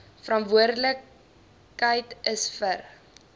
verantwoordelik is vir